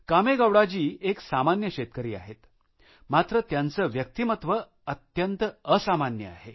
कामेगौडाजी एक सामान्य शेतकरी आहेत मात्र त्यांचे व्यक्तिमत्व अत्यंत असामान्य आहे